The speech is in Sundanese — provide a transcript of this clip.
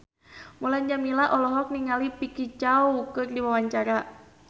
Mulan Jameela olohok ningali Vicki Zao keur diwawancara